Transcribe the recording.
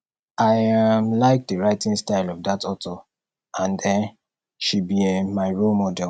i um like the writing style of dat authour and um she be um my role model